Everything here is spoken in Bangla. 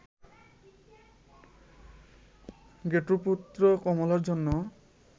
ঘেটুপুত্র কমলা'র জন্য